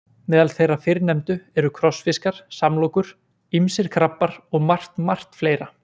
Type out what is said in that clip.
Meðal þeirra fyrrnefndu eru krossfiskar, samlokur, ýmsir krabbar og margt, margt fleira.